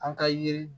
An ka yiri